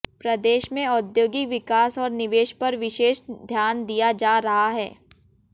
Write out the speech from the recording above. प्रदेश में औद्योगिक विकास और निवेश पर विशेष ध्यान दिया जा रहा है